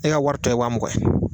E ka wari tɔ ye wa mugan